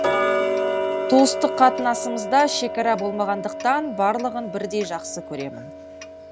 туыстық қатынасымызда шекара болмағандықтан барлығын бірдей жақсы көремін